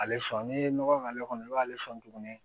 Ale sɔn n'i ye nɔgɔ k'ale kɔnɔ i b'ale sɔn tuguni